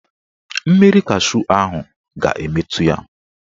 Mmiri cashu ahụ ga-emetu ya.